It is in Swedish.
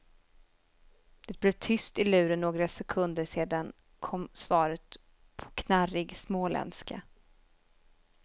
Det blev tyst i luren några sekunder sedan kom svaret på knarrig småländska.